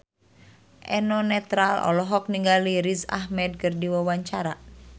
Eno Netral olohok ningali Riz Ahmed keur diwawancara